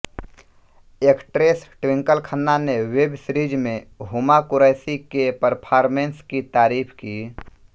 actress Twinkle Khanna ने web series में हुमा कुरैशी के परफॉर्मेंस की तारीफ की